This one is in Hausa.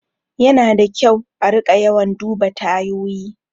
Yana da kyau a riƙa yawan duba tayoyi.